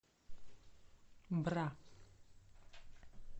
бра